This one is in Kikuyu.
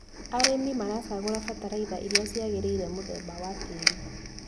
Arĩmi maracagũra bataraitha iria ciagĩrĩire mũthemba wa tĩri.